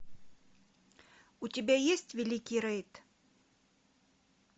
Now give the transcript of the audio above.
у тебя есть великий рейд